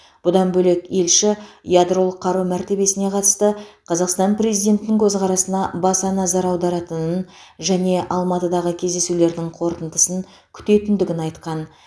бұдан бөлек елші ядролық қару мәртебесіне қатысты қазақстан президентінің көзқарасына баса назар аударатынын және алматыдағы кездесулердің қорытындысын күтетіндігін айтқан